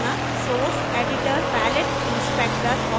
palette inspector और properties विशेषताएँ